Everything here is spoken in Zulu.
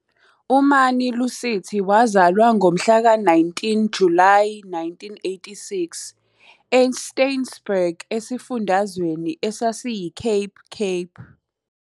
UMani-Lusithi wazalwa ngomhlaka 19 Julayi 1986 eSteynsburg esifundazweni esasiyiCape Cape.